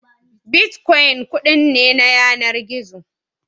Bitkwon kuɗi ne na yanar gizo